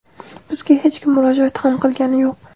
Bizga hech kim murojaat ham qilgani yo‘q.